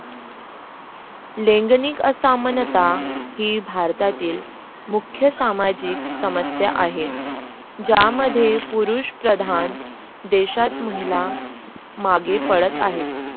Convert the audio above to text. लैंगिक असमानता ही भारतातील मुख्य सामाजिक समस्या आहे यामध्ये पुरुष प्रधान देशात महिला मागे पडत आहे.